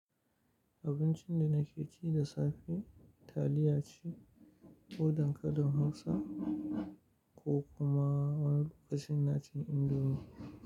Abincin da nake ci da safe taliya ce, ko dankalin Hausa ko kuma wani kasinaci indomi.